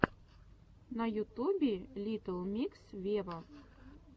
на ютубе литтл микс вево